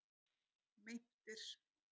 Meintir